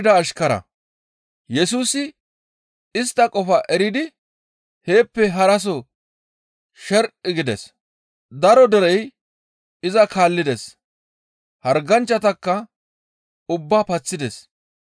Yesusi istta qofaa eridi heeppe haraso sher7i gides. Daro derey iza kaallides; harganchchatakka ubbaa paththides.